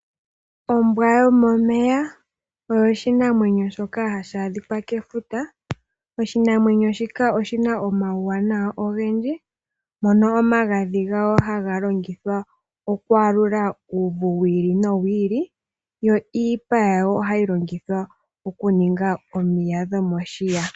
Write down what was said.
Ombwa yomomeya oyo oshinamwenyo shoka hashi a dhikwa kefuta. Oshinamwenyo shika oshi na omauwanawa ogendji mono omagadhi gawo haga longithwa okwaaludha uuvu wiili no wiili yo iipa yawo oha yi longithwa okuninga omiya dhomoshiya.